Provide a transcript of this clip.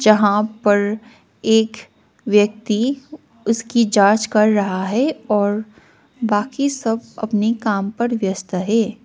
यहां पर एक व्यक्ति ऊसकी जांच कर रहा है और बाकी सब अपने काम पर व्यस्त है।